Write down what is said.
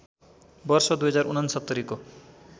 वर्ष २०६९ को